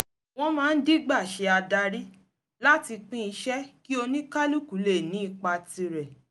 wọ́n máa ń dígbà ṣe adarí láti pín iṣẹ́ kí oníkàlùkù lè ní ipa tirẹ̀